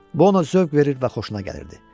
Bu ona zövq verir və xoşuna gəlirdi.